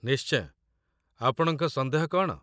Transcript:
ନିଶ୍ଚୟ, ଆପଣଙ୍କ ସନ୍ଦେହ କ'ଣ?